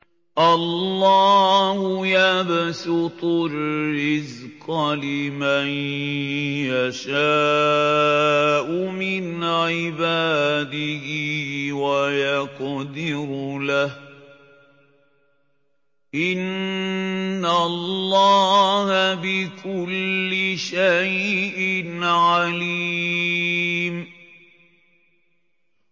اللَّهُ يَبْسُطُ الرِّزْقَ لِمَن يَشَاءُ مِنْ عِبَادِهِ وَيَقْدِرُ لَهُ ۚ إِنَّ اللَّهَ بِكُلِّ شَيْءٍ عَلِيمٌ